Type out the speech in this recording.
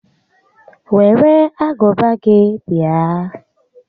Were agụba gị bịa